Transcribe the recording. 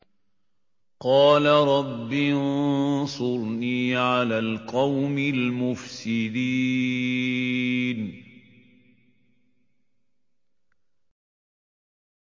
قَالَ رَبِّ انصُرْنِي عَلَى الْقَوْمِ الْمُفْسِدِينَ